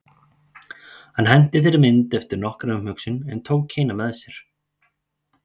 Hann henti þeirri mynd eftir nokkra umhugsun en tók hina með sér.